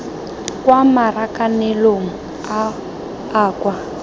kwa marakanelong a a kwa